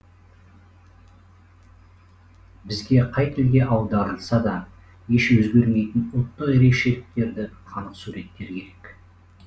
бізге қай тілге аударылса да еш өзгермейтін ұлттық ерекшеліктері қанық суреттер керек